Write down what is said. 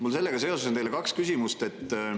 Mul on sellega seoses teile kaks küsimust.